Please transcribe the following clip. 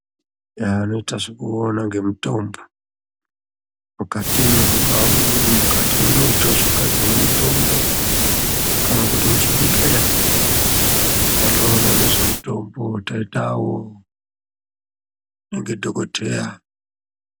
Vanoita zvekuona ngezvemutombo mukatimwo mungaa muri mukati munoita zvekugadzira mutombo kana kuti muchibhedhlera vanoona ngezvemutombo taita avo ndidhokodheya.